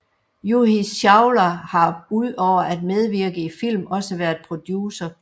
Juhi Chawla har udover at medvirke i film også været producer